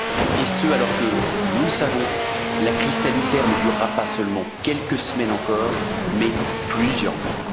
Et ce, alors que, nous le savons, la crise sanitaire ne durera pas seulement quelques semaines encore, mais plusieurs mois.